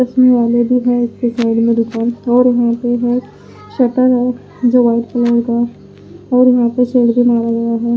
सो रहे है तो --